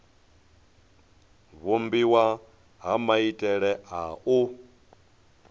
vhumbiwa ha maitele a u